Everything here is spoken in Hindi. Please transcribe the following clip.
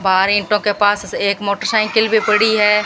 बाहर ईंटों के पास एक मोटरसाइकिल भी पड़ी है।